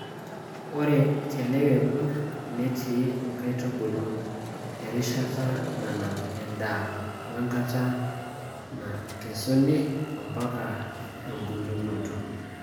Ore te ele kekun netti nkaitubulu erishata nanap endaa o enkata nakesuni ompaka ebulunoto.